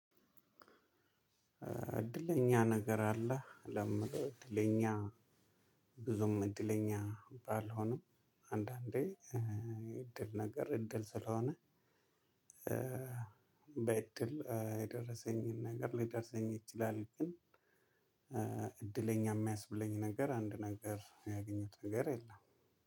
እድለኛ ነገር አለ። እድለኛ ብዙም እድለኛ ባልሆንም አንዳንዴ እድል ነገር እድል ስለሆነ። በእድል የደረሰኝን ነገር ሊደርሰኝ ይችላል። ግን እድለኛ የሚያስብለኝ ነገር አንድ ነገር ያገኘሁት ነገር የለም።